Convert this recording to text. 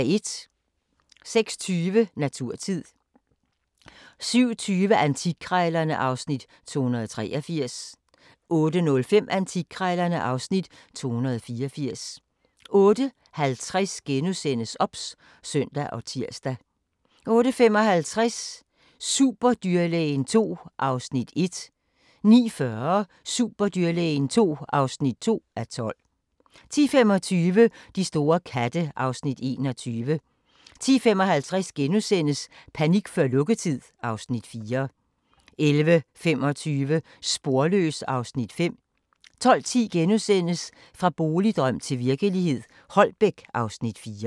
06:20: Naturtid 07:20: Antikkrejlerne (Afs. 283) 08:05: Antikkrejlerne (Afs. 284) 08:50: OBS *(søn og tir) 08:55: Superdyrlægen II (1:12) 09:40: Superdyrlægen II (2:12) 10:25: De store katte (Afs. 21) 10:55: Panik før lukketid (Afs. 4)* 11:25: Sporløs (Afs. 5) 12:10: Fra boligdrøm til virkelighed – Holbæk (Afs. 4)*